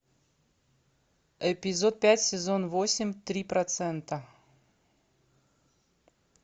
эпизод пять сезон восемь три процента